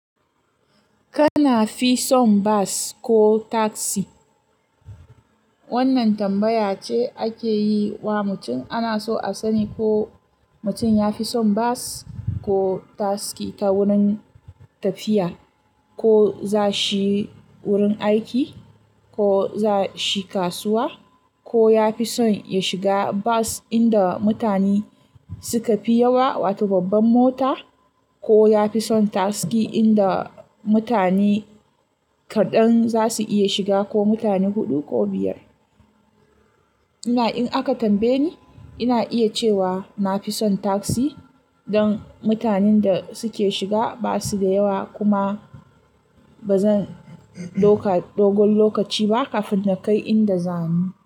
Kana fi son bus ko taksi? Wannan tambaya ce ake yi wa mutum ana so a sani ko mutum ya fi son bus ko taksi ta wurin tafiya, ko za shi wurin aiki, ko za shi kasuwa, ko ya fi son ya shiga bas inda mutane suka fi yawa, wato babban mota, ko ya fi son taksi inda mutane kaɗan za su iya shiga ko mutane huɗu ko biyar. Ina in aka tambaye ni, ina iya cewa na fi son taksi don mutanen da suke shiga ba su da yawa kuma ba zan ɗoƙa-- dogon lokaci ba kafin na kai inda za ni.